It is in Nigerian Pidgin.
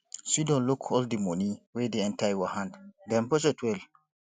sidon look all di money wey dey enter your hand then budget well